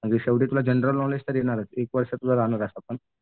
म्हणजे तुला general knowledge तर येणारच एक वर्ष तर तुझं राहणारच असं पण